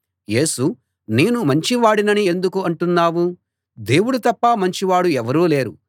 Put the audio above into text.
యేసు నేను మంచి వాడినని ఎందుకు అంటున్నావు దేవుడు తప్ప మంచివాడు ఎవరూ లేరు